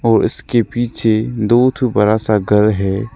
और इसके पिछे दो ठो बड़ा सा घर है।